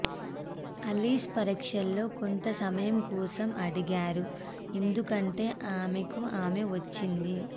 Alice పరీక్షలో కొంత సహాయం కోసం అడిగారు ఎందుకంటే ఆమెకు ఆమె వచ్చింది